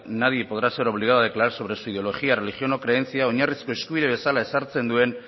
nadie podrá ser obligado a declarar sobre su ideología religión o creencia oinarrizko eskubide bezala ezartzen duen